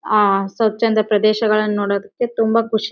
ಆಹ್ಹ್ ಸ್ವಚಂದ ಪ್ರದೇಶಗಳನ್ನು ನೋಡೋದಕ್ಕೆ ತುಂಬಾ ಖುಷಿ--